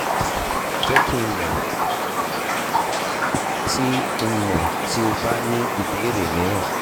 jẹ ki n mọ ti n mọ ti o ba ni ibeere miiran